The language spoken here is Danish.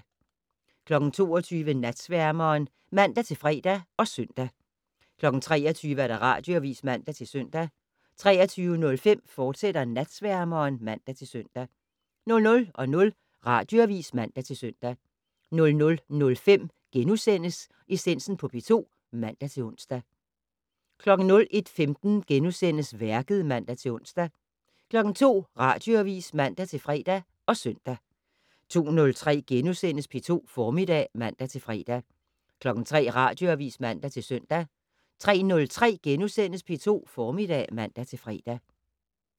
22:00: Natsværmeren (man-fre og søn) 23:00: Radioavis (man-søn) 23:05: Natsværmeren, fortsat (man-søn) 00:00: Radioavis (man-søn) 00:05: Essensen på P2 *(man-ons) 01:15: Værket *(man-ons) 02:00: Radioavis (man-fre og søn) 02:03: P2 Formiddag *(man-fre) 03:00: Radioavis (man-søn) 03:03: P2 Formiddag *(man-fre)